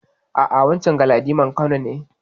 A'a, wancen Galadiman Kano ne.